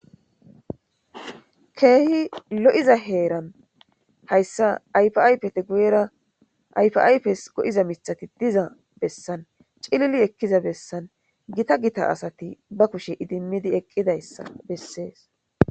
keehi lo7iza heeran hayssa ayfaypete guyera aypes go7iza mitati diza bessan cilili ekkiza bessan gita gita asati ba kushe idimmidi eqqidayssa bessees.